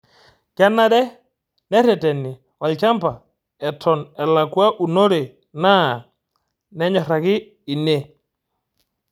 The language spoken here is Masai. Kenare nereteni olchaba Eton elakwa unore naa nenyoraki ine